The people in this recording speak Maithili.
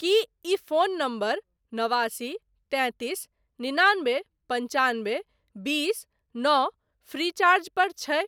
की ई फोन नंबर नवासी तैंतीस निनानबे पन्चानबे बीस नओ फ्रीचार्ज पर छै?